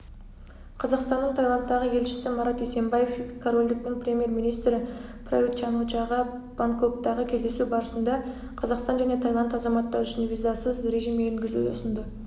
қазақстанның таиландтағы елшісі марат есенбаев корольдіктің премьер-министрі прают чан-о-чаға бангкоктегі кездесу барысында қазақстан және таиланд азаматтары үшін визасыз режим енгізуді ұсынды